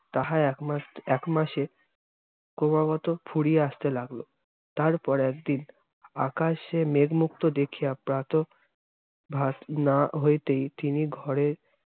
তাহা একমাস একমাসে ক্রমাগত ফুরিয়া আসতে লাগল। তারপর একদিন আকশে মেঘমুক্ত দেখিয়া প্রাতঃ~ ভাত না হইতেই তিনি ঘরে